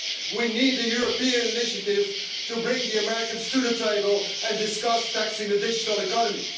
We need a European initiative to bring the Americans to the table and discuss taxing the digital economy.